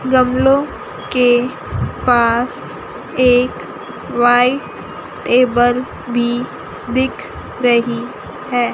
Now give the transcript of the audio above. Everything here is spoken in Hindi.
गमलों के पास एक व्हाइट टेबल भी दिख रही है।